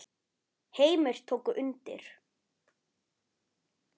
Heimir tók undir.